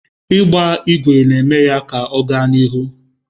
Ịgba ígwè na-eme ka ọ gaa n'ihu.